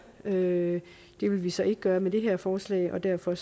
det vil vi så ikke gøre med det her forslag og derfor